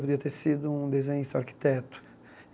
Podia ter sido um desenhista ou arquiteto.